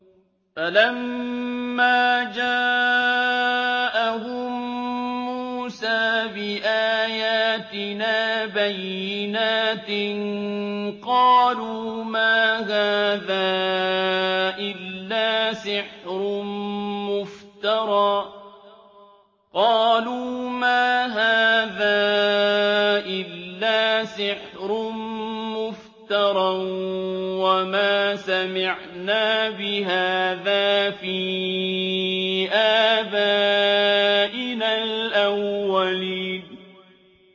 فَلَمَّا جَاءَهُم مُّوسَىٰ بِآيَاتِنَا بَيِّنَاتٍ قَالُوا مَا هَٰذَا إِلَّا سِحْرٌ مُّفْتَرًى وَمَا سَمِعْنَا بِهَٰذَا فِي آبَائِنَا الْأَوَّلِينَ